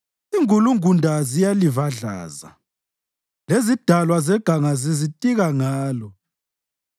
Ingulungunda ziyalivadlaza, lezidalwa zeganga zizitika ngalo.